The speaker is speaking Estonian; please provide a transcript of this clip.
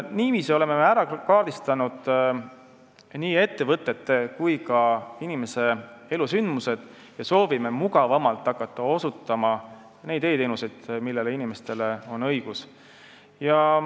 Niiviisi oleme me ära kaardistanud nii ettevõtete kui ka inimese elusündmused ja soovime mugavamalt hakata osutama neid e-teenuseid, millele inimestel on õigus.